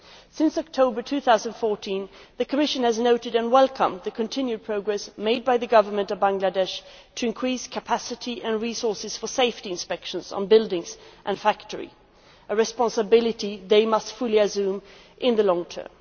Since October 2014, the Commission has noted and welcomed the continued progress made by the government of Bangladesh to increase capacity and resources for safety inspections on buildings and factories, a responsibility they must fully assume in the long term.